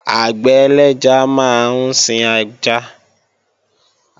Àgbẹ̀ ẹlẹ́ja máa ń sin ẹja